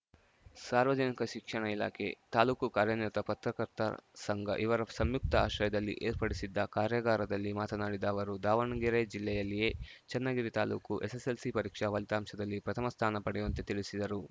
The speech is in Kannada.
ಸಾರ್ವಜನಿಕ ಶಿಕ್ಷಣ ಇಲಾಖೆ ತಾಲೂಕು ಕಾರ್ಯನಿರತ ಪತ್ರಕರ್ತರ ಸಂಘ ಇವರ ಸಂಯುಕ್ತ ಆಶ್ರಯದಲ್ಲಿ ಏರ್ಪಡಿಸಿದ್ದ ಕಾರ್ಯಾಗಾರದಲ್ಲಿ ಮಾತನಾಡಿದ ಅವರು ದಾವಣಗೆರೆ ಜಿಲ್ಲೆಯಲ್ಲಿಯೇ ಚೆನ್ನಗಿರಿ ತಾಲೂಕು ಎಸ್‌ಎಸ್‌ಎಲ್‌ಸಿ ಪರೀಕ್ಷಾ ಫಲಿತಾಂಶದಲ್ಲಿ ಪ್ರಥಮ ಸ್ಥಾನ ಪಡೆಯುವಂತೆ ತಿಳಿಸಿದರು